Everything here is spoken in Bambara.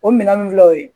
O minɛn nunnu filɛ o ye